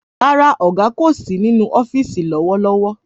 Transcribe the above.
Rárá, ọ̀gá kò sí nínú ọ́fìsì lówó lówó